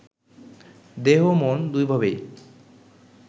দেহ-মন দুইভাবেই